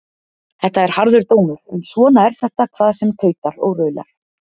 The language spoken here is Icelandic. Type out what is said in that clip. Þetta er harður dómur en svona er þetta hvað sem tautar og raular.